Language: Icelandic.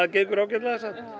gengur ágætlega